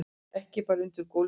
Ekki bara undir gólfinu.